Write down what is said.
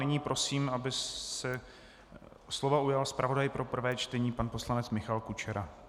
Nyní prosím, aby se slova ujal zpravodaj pro prvé čtení pan poslanec Michal Kučera.